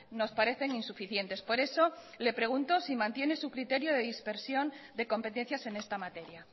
nos parecen insuficientes por eso le pregunto si mantiene su criterio de dispersión de competencias en esta materia